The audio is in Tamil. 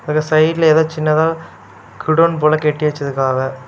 அது சைட்ல எதோ சின்னதா குடோன் போல கட்டி வச்சிருக்காவ.